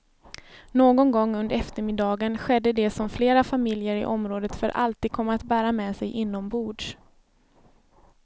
Någon gång under eftermiddagen skedde det som flera familjer i området för alltid kommer att bära med sig inombords.